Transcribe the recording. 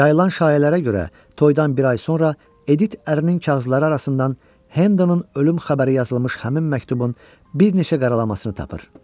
Yayılan şayələrə görə, toydan bir ay sonra Edit ərinin kağızları arasından Hendonun ölüm xəbəri yazılmış həmin məktubun bir neçə qaralamasını tapır.